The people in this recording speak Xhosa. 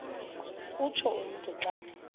utsho umntu xa